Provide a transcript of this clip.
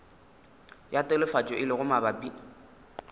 ya telefatšo e lego mabapi